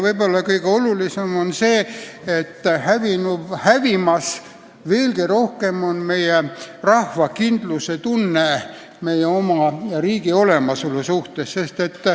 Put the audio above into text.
Võib-olla kõige olulisem on see, et nii on hävimas meie rahva kindlustunne meie oma riigi olemasolu suhtes.